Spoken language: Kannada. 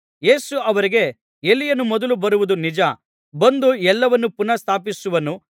ಯೇಸು ಅವರಿಗೆ ಎಲೀಯನು ಮೊದಲು ಬರುವುದು ನಿಜ ಬಂದು ಎಲ್ಲವನ್ನು ಪುನಃ ಸ್ಥಾಪಿಸುವನು